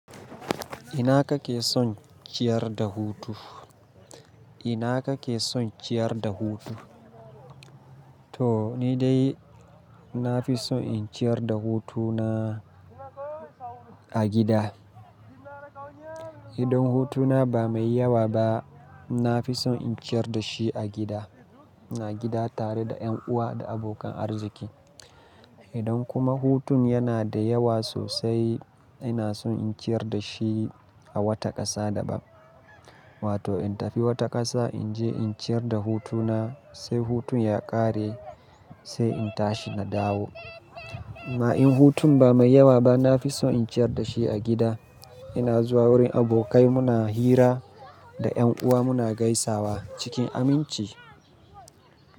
Ina ka ke son ciyar da hutu? Ina ka ke son ciyar da hutu? To ni dai na fi son in ciyar da hutuna a gida. Idan hutuna ba mai yawa ba, na fi son in ciyar da shi a gida, a gida tare da yan uwa da abokan arziki. Idan kuma hutun yana da yawa sosai, ina son in ciyar da shi a wata ƙasa daban. Wato in tafi wata ƙasa in je in ciyar da hutuna, sai hutun ya ƙare sai in tashi na dawo. Ma in hutun ba mai yawa ba, na fi son in ciyar da shi a gida. Ina zuwa wurin abokai muna hira da Yan uwa muna gaisawa cikin aminci.